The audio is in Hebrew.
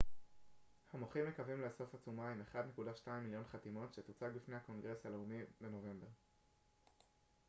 המוחים מקווים לאסוף עצומה עם 1.2 מיליון חתימות שתוצג בפני הקונגרס הלאומי בנובמבר